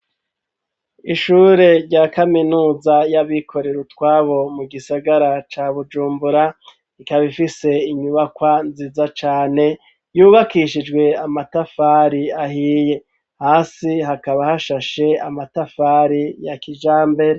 Ishure rya kaminuza y'abikorero utwabo mu gisagara ca Bujumbura ikaba ifise inyubakwa nziza cane yubakishijwe amatafari ahiye hasi hakaba hashashe amatafari ya kijambere.